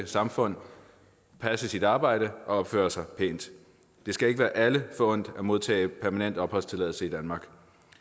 samfund passe sit arbejde og opføre sig pænt det skal ikke være alle forundt at modtage permanent opholdstilladelse i danmark